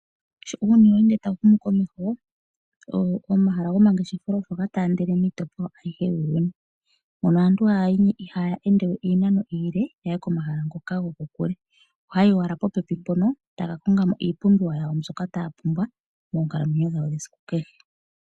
Sho uuyuni we ende tawu humu komeho omahala gomangeshefelo oga taandele miitopolwa ayihe yuuyuni, moka aantu ihaya ende we iinano iile ya ye komahala ngoka gokokule. Ohaya yi owala popepi e taya ka konga mo iipumbiwa yawo mbyoka taya pumbwa moonkalamwenyo dhawo dhesiku kehe.